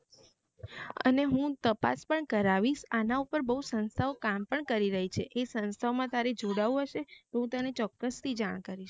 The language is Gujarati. અને હું તપાસ પણ કરાવીસ આના પર બૌ સંસ્થાઓ કામ પણ કરી રહી છે એ સંસ્થાઓ તારે જોડાવું હશે તો તને ચોક્કસ થી જાન કરીશ